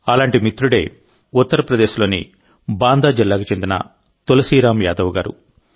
అలాంటి మిత్రుడే యూపీలోని బాందా జిల్లాకు చెందిన తులసీరామ్ యాదవ్ గారు